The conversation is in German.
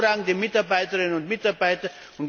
Sie haben hervorragende Mitarbeiterinnen und Mitarbeiter!